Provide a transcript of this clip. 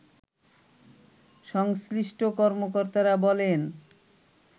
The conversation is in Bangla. সংশ্লিষ্ট কর্মকর্তারা বলেন